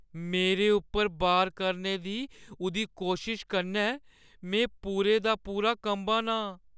मेरे उप्पर वार करने दी उʼदी कोशश कन्नै में पूरे दा पूरा कंबा ना आं ।